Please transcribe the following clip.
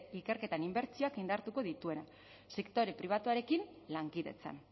ikerketan inbertsioak indartuko dituena sektore pribatuarekin lankidetzan